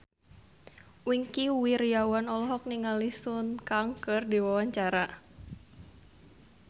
Wingky Wiryawan olohok ningali Sun Kang keur diwawancara